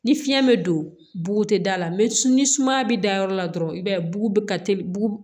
Ni fiɲɛ be don buguti da la ni sumaya be da yɔrɔ la dɔrɔn i b'a ye bugu ka teli